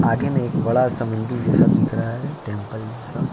आगे में एक बड़ा मंदिर जैसा दिख रहा है टेम्पल जैसा।